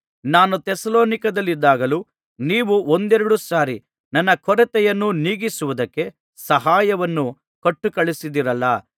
ನಾನು ಥೆಸಲೋನಿಕದಲ್ಲಿದ್ದಾಗಲೂ ನೀವು ಒಂದೆರಡು ಸಾರಿ ನನ್ನ ಕೊರತೆಯನ್ನು ನೀಗಿಸುವುದಕ್ಕೆ ಸಹಾಯವನ್ನು ಕೊಟ್ಟುಕಳುಹಿಸಿದಿರಲ್ಲಾ